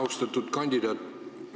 Austatud kandidaat!